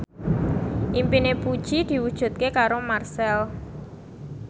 impine Puji diwujudke karo Marchell